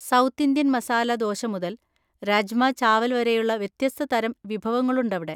South Indian masala dosa മുതൽ രാജ്മാ, ചാവൽ വരെയുള്ള വ്യത്യസ്ത തരം വിഭവങ്ങളുണ്ടവിടെ.